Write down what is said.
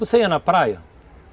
Você ia na praia?